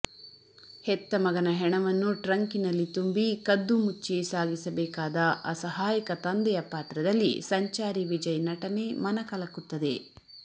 ಹೆತ್ತಮಗನ ಹೆಣವನ್ನು ಟ್ರಂಕಿನಲ್ಲಿ ತುಂಬಿ ಕದ್ದುಮುಚ್ಚಿ ಸಾಗಿಸಬೇಕಾದ ಅಸಹಾಯಕ ತಂದೆಯ ಪಾತ್ರದಲ್ಲಿ ಸಂಚಾರಿ ವಿಜಯ್ ನಟನೆ ಮನಕಲುಕುತ್ತದೆ